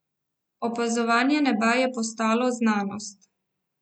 Opazovanje neba je postalo znanost.